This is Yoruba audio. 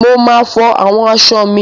Mo máa fọ àwọn aṣọ mi.